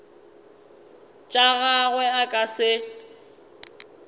tša gagwe a ka se